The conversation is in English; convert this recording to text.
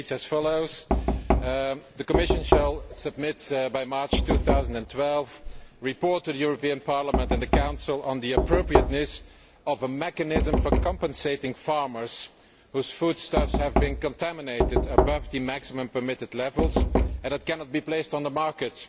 It reads as follows The Commission shall submit, by March 2012, a report to the European Parliament and the Council on the appropriateness of a mechanism for compensating farmers whose foodstuffs have been contaminated above the maximum permitted levels and that cannot be placed on the market.